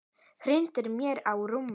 Hrindir mér á rúmið.